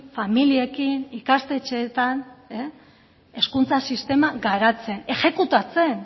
familiekin ikastetxeetan hezkuntza sistema garatzen exekutatzen